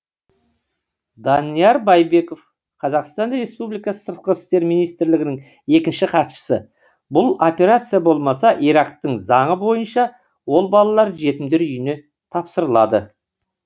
данияр байбеков қазақстан республикасы сыртқы істер министрлігінің екінші хатшысы бұл операция болмаса ирактың заңы бойынша ол балалар жетімдер үйіне тапсырылады